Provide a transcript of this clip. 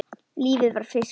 Lífið var fiskur.